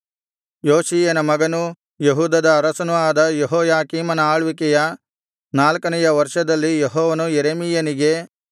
ಯೋಷೀಯನ ಮಗನೂ ಯೆಹೂದದ ಅರಸನೂ ಆದ ಯೆಹೋಯಾಕೀಮನ ಆಳ್ವಿಕೆಯ ನಾಲ್ಕನೆಯ ವರ್ಷದಲ್ಲಿ ಯೆಹೋವನು ಯೆರೆಮೀಯನಿಗೆ